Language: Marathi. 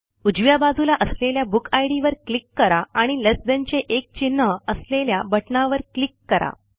उजव्या बाजूला असलेल्या बुकिड वर क्लिक करा आणि लेस थान चे एक चिन्ह असलेल्या बटणावर क्लिक करा